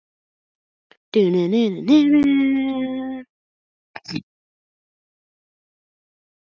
Björn Þorláksson: Er það sárasjaldgæft að þið grípið til kylfunnar?